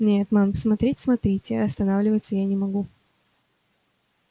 нет мэм смотреть смотрите а останавливаться я не могу